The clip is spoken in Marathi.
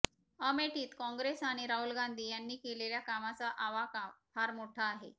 अमेठीत काँग्रेस आणि राहुल गांधी यांनी केलेल्या कामाचा आवाका फार मोठा आहे